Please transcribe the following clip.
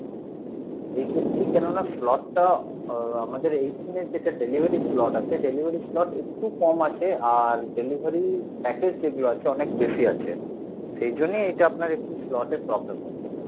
এই ক্ষেত্রে কেনো না slot টা আহ আমাদের এইখানে যেটা delivery slot আছে delivery slot একটু কম আছে আর delivery package যেগুলো আছে অনেক বেশি আছে সেই জন্যে এটা আপনার একটু slot এর problem হচ্ছে sir